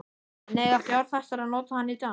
En eiga fjárfestar að nota hann í dag?